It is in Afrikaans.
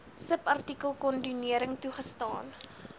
subartikel kondonering toegestaan